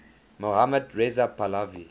mohammad reza pahlavi